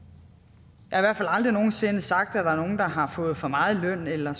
jeg hvert fald aldrig nogen sinde sagt at der er nogle der har fået for meget i løn eller